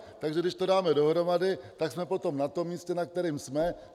Takže když to dáme dohromady, tak jsme potom na tom místě, na kterém jsme.